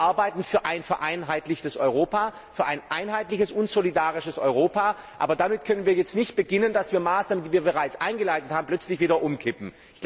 Wir arbeiten für ein vereinheitlichtes Europa, für ein einheitliches und solidarisches Europa, aber wir können jetzt nicht damit beginnen, Maßnahmen, die wir bereits eingeleitet haben, plötzlich wieder umzukippen.